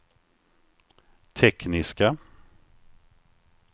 tekniska